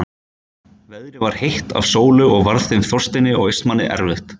Veðrið var heitt af sólu og varð þeim Þorsteini og Austmanni erfitt.